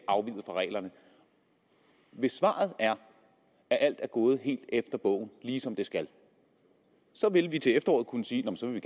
afveg fra reglerne hvis svaret er at alt er gået helt efter bogen ligesom det skal så vil vi til efteråret kunne sige at så vil